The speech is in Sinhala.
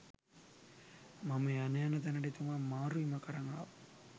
මම යන යන තැනට එතුමා මාරුවීමක් අරන් ආවා